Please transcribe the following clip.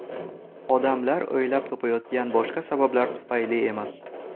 Odamlar o‘ylab topayotgan boshqa sabablar tufayli emas.